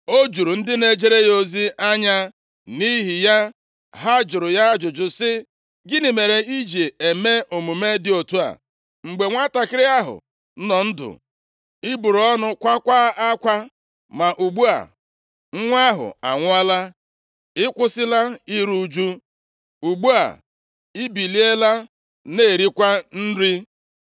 O juru ndị na-ejere ya ozi anya, nʼihi ya ha jụrụ ya ajụjụ si, “Gịnị mere i ji eme omume dị otu a? Mgbe nwantakịrị ahụ nọ ndụ, i buru ọnụ, kwaakwa akwa, ma ugbu a, nwa ahụ anwụọla, ị kwụsịla iru ụjụ. Ugbu a, ị biliela na-erikwa nri.”